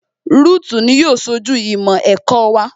Rúùtù ni yóò ṣojú ìmọ̀ ẹ̀kọ́ wa